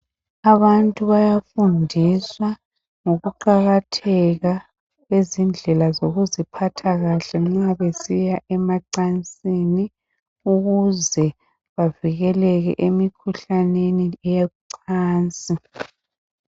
Abantu bayafundiswa ngokuqakatheka kwezindlela zokuziphatha kahle nxa besiya emacansini ukuze bavikeleke emikhuhlaneni yocansi.